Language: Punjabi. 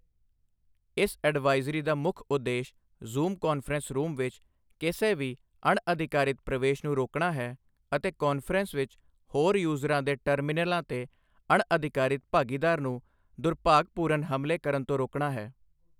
ਇਸ ਅਡਵਾਈਜ਼ਰੀ ਦਾ ਮੁੱਖ ਉਦੇਸ਼ ਜ਼ੂਮ ਕਾਨਫਰੰਸ ਰੂਮ ਵਿੱਚ ਕਿਸੇ ਵੀ ਅਣਅਧਿਕਾਰਿਤ ਪ੍ਰਵੇਸ਼ ਨੂੰ ਰੋਕਣਾ ਹੈ ਅਤੇ ਕਾਨਫਰੰਸ ਵਿੱਚ ਹੋਰ ਯੂਜ਼ਰਾਂ ਦੇ ਟਰਮੀਨਲਾਂ ਤੇ ਅਣਅਧਿਕਾਰਿਤ ਭਾਗੀਦਾਰ ਨੂੰ ਦੁਰਭਾਗਪੂਰਨ ਹਮਲੇ ਕਰਨ ਤੋਂ ਰੋਕਣਾ ਹੈ।